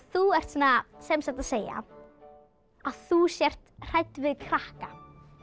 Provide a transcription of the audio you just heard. þú ert sem sagt að segja að þú sért hrædd við krakka